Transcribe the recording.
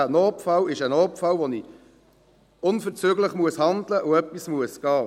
Ein Notfall ist ein Notfall, wenn ich unverzüglich handeln und gehen muss.